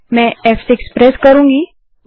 मैं अब फ़6 प्रेस कर रही हूँ